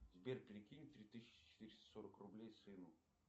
сбер перекинь три тысячи четыреста сорок рублей сыну